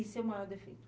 E seu maior defeito?